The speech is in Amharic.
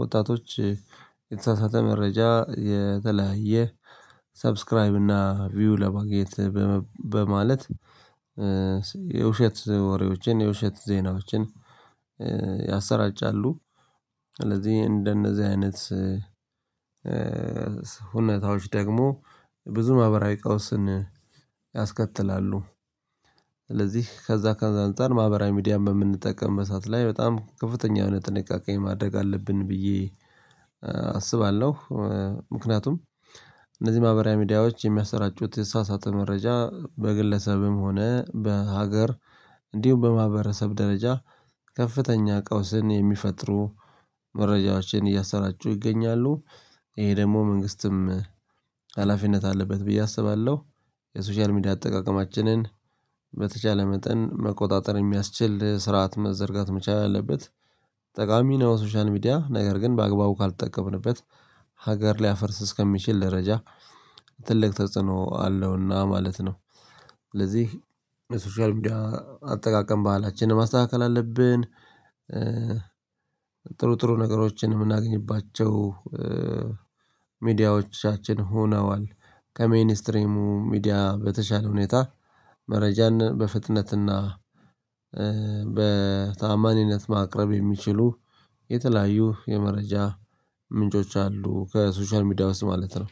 ወጣቶች የተሳሳተ መረጃ የተለያየ ሰብስክራይብ እና ቪው ለማግኘት በማለት የውሸት ወሬዎችን የውሸት ዜናዎችን ያሰራጫሉ። ስለዚህ እንደነዚህ አይነት ሁኔታዎች ደግሞ ብዙ ማህበራዊ ቀውስን ያስከትላሉ። ስለዚህ ከዛ ከዛ አንፃር ማህበራዊ ሚዲያ በምንጠቀምበት ሰዓት ላይ በጣም ከፍተኛ የሆነ ጥንቃቄ ማድረግ አለብን ብዬ አስባለሁ። ምክንያቱም እነዚህ ማህበራዊ ሚዲያዎች የሚያስረጩት የተሳሳተ መረጃ በግለሰብም ሆነ በሀገር እንዲሁም በማህበረሰብ ደረጃ ከፍተኛ ቀውስን የሚፈጥሩ መረጃዎችን እያሰራጩ ይገኛሉ። ይሄ ደግሞ መንግስትም ሀላፊነት አለበት ብዬ አስባለሁ። የሶሻል ሚዲያ አጠቃቀማችንን በተቻለ መጠን መቆጣጠር የሚያስችል ስርዓት መዘርጋት መቻል አለበት ጠቃሚ ነው። ሶሻል ሚዲያ ነገር ግን በአግባቡ ካልተጠቀምንበት ሀገር ሊያፈርስ እስከሚችል ደረጃ ትልቅ ተጽዕኖ አለውና ማለት ነው። ስለዚህ የሶሻል ሚዲያ አጠቃቀም ባህላችንን ማስተካከል አለብን። ጥሩ ጥሩ ነገሮችን የምናገኝባቸው ሚዲያዎቻችን ሆነዋል ከሜይን እስትሪሙ ሚዲያ በተሻለ ሁኔታ መረጃን በፍጥነትና በታማኝነት ማቅረብ የሚችሉ የተለያዩ የመረጃ ምንጮች አሉ። ከሶሻል ሚዲያ ውስጥ ማለት ነው።